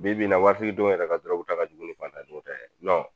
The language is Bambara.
Bibi in na waritigi dɔw yɛrɛ ka durɔguta ka jugu ni fantandenw ta ye nɔn